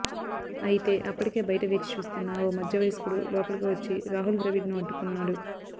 అయితే అప్పటికే బయట వేచి చూస్తున్న ఓ మధ్య వయస్కుడు లోపలికి వచ్చి రాహుల్ ద్రవిడ్ను అడ్డుకున్నాడు